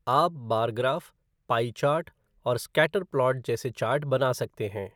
आप bar graph, pie chart और scatter plot जैसे चार्ट बना सकते हैं।